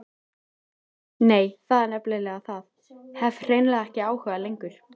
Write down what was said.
Nei, það er nefnilega það, hef hreinlega ekki áhuga lengur.